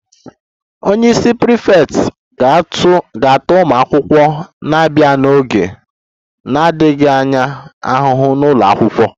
Onye isi prefect ga-ata ụmụ akwụkwọ na-abịa n'oge na-adịghị anya ahụhụ n'ụlọ akwụkwọ